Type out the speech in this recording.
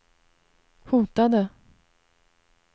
hotade